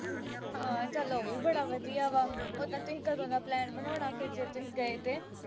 ਹਾਂ ਚੱਲ ਆਹ ਵੀ ਬੜਾ ਵਧੀਆ ਵਾ। ਉਦਾਂ ਤੁਸੀਂ ਕਦੋਂ ਦਾ plan ਬਣਾਉਣਾ, ਫਿਰ ਜੇ ਤੁਸੀਂ ਗਏ ਤੇ।